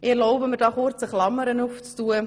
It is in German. Ich erlaube mir hier kurz eine Klammerbemerkung: